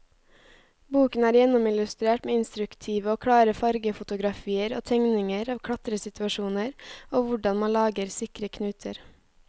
Boken er gjennomillustrert med instruktive og klare fargefotografier og tegninger av klatresituasjoner og hvordan man lager sikre knuter.